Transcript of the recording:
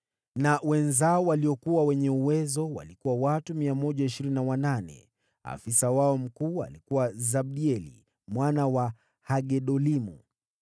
na wenzao waliokuwa wenye uwezo: watu 128. Afisa wao mkuu alikuwa Zabdieli mwana wa Hagedolimu.